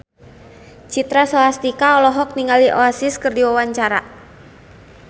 Citra Scholastika olohok ningali Oasis keur diwawancara